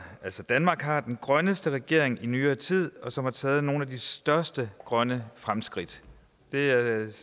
danmark har den grønneste regering i nyere tid som har taget nogle af de største grønne fremskridt det er et